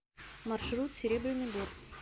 маршрут серебряный бор